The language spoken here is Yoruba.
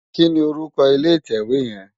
Kini órúkò ilé itèwé yèn?